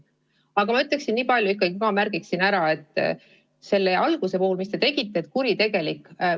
Ma märgiksin ära veel selle, mis te ütlesite oma sõnavõtu alguses sõna "kuritegelik" kasutamise kohta.